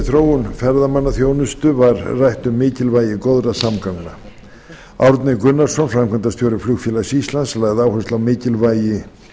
þróun ferðamannaþjónustu var rætt um mikilvægi góðra samgangna árni gunnarsson framkvæmdastjóri flugfélags íslands lagði áherslu á mikilvægi